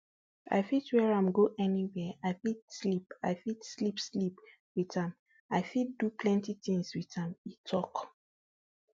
i fit wear am go anywia i fit sleep i fit sleep sleep wit am i fit do plenti tins wit am e tok